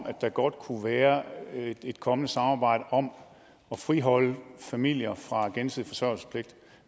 at der godt kunne være et kommende samarbejde om at friholde familier fra gensidig forsørgelsespligt